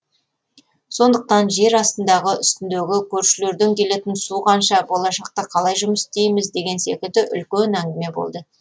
сондықтан жер астындағы үстіндегі көршілерден келетін су қанша болашақта қалай жұмыс істейміз деген секілді үлкен әңгіме болды